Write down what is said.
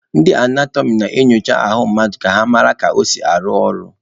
Ndị anatọmị na-enyocha ahụ mmadụ ka ha mara ka o si arụ ọrụ.